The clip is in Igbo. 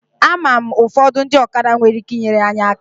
Ama m ụfọdụ ndị ọkada nwere ike inyere anyị aka.